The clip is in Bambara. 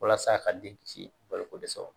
Walasa ka den kisi balo ko dɛsɛ ma